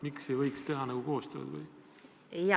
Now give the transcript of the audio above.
Miks ei võiks teha koostööd?